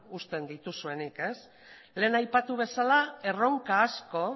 uzten dituzuenik lehen aipatu bezala erronka asko